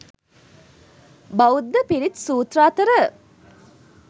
බෞද්ධ පිරිත් සූත්‍ර අතර